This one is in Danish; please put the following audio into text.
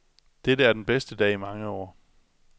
Dette er den bedste dag i mange år.